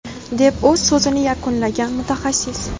deb o‘z so‘zini yakunlagan mutaxassis.